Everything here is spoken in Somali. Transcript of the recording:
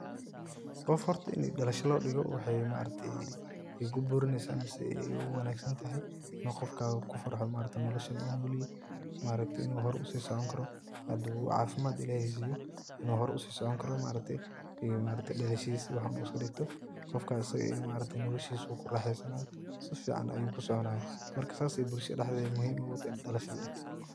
Qof horta inii dhalasho lodhigo wexey maaragte kuburineysa mise ey uwangsantahay inu qofkaga kufarxo nolashan uu nolyehe maaragte inu horey usisoconi karo hadu cafimad illahey siyo inu horey usisicini karo maaragte dhalalshadisa iyo waxan uu iskadhigto qofka asaga eeh marragte noloshisu kuraxeysanaya sifican ayu kusoconaya marka saas ayey bulshada dhededa muhiim ogutahay in dhalasho ladhigto.